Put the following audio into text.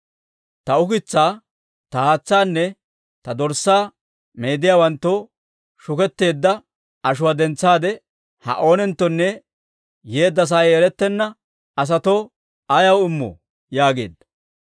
Ta ukitsaa, ta haatsaanne ta dorssaa meediyaawanttoo shuketteedda ashuwaa dentsaade, ha oonenttonne yeedda sa'ay erettenna asatoo ayaw immoo?» yaageedda.